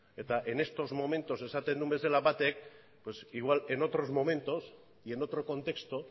y en estos momentos esaten duen bezala batek pues igual en otros momentos y en otro contexto